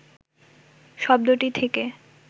শব্দটি থেকে